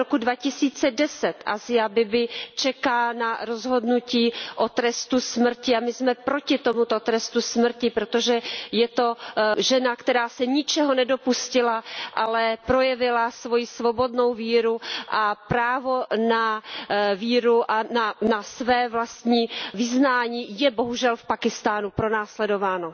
Od roku 2010 Asia Bibiová čeká na rozhodnutí o trestu smrti a my jsme proti tomuto trestu smrti, protože je to žena, která se ničeho nedopustila, ale projevila svoji svobodnou víru a právo na víru a na své vlastní vyznání, které je bohužel v Pákistánu pronásledováno.